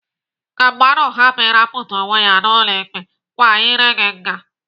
Ka mmadụ hapụ ịrapụta onwe ya n'ụlọ ikpe, kwa iré gị nga.